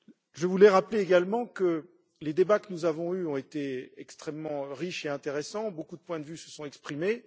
Je voulais rappeler également que les débats que nous avons eus ont été extrêmement riches et intéressants, beaucoup de points de vue se sont exprimés.